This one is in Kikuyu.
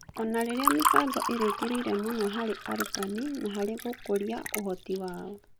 O na rĩrĩa mĩbango ĩrerekeire mũno harĩ arutani na harĩ gũkũria ũhoti wao.